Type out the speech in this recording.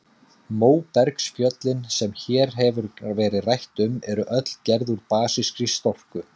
Móbergsfjöllin, sem hér hefur verið rætt um, eru öll gerð úr basískri storku.